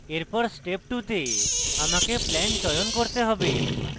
এরপর step 2 তে আমাকে plan চয়ন করতে have